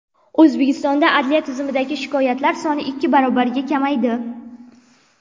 O‘zbekistonda adliya tizimidagi shikoyatlar soni ikki barobarga kamaydi.